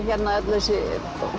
þessi